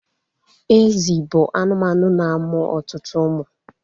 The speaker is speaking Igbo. Ezi bụ anụmanụ na-amụ ọtụtụ umu